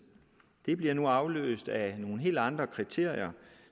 det bliver nu afløst af nogle helt andre kriterier